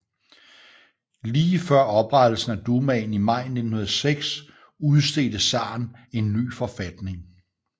Lige før oprettelsen af Dumaen i maj 1906 udstedte zaren en ny forfatning